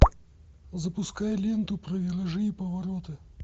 запускай ленту про виражи и повороты